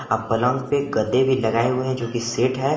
अ पलंग पर गद्दे भी लगाए हुए हैं जो कि सेट है।